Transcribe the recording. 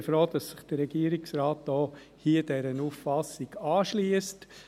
Ich bin froh, dass sich der Regierungsrat dieser Auffassung anschliesst.